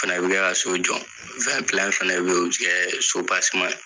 Fana be kɛ ka so jɔ. Fɛn fɛnɛ be ye, o ti kɛɛ sobaseman ye